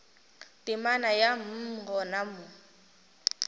temana ya mm gona mo